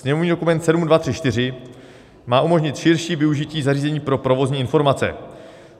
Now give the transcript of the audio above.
Sněmovní dokument 7234 má umožnit širší využití zařízení pro provozní informace.